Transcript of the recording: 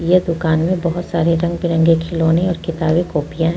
इस दुकान में बहुत सारे रंग बिरंगे खिलौने और किताबें कॉपियां हैं।